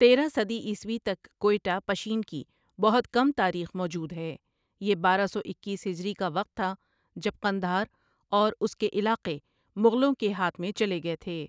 تیرہ صدی عیسوی تک کوئٹہ پشین کی بہت کم تاریخ موجود ہے یہ بارہ سو اکیس ہجری کا وقت تھا جب قندھار اور اس کے علاقے مغلوں کے ہاتھ میں چلے گئے تھے ۔